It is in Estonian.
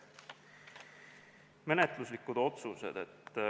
Menetluslikud otsused.